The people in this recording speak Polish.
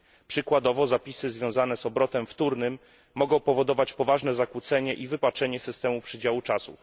Przykładowo zapisy związane z obrotem wtórnym mogą powodować poważne zakłócenie i wypaczenie systemu przydziału czasu.